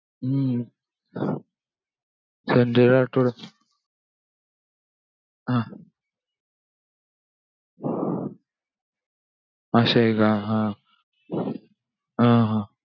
हम्म संजय राठोड हं असंय का हा! हा हा.